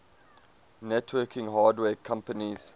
networking hardware companies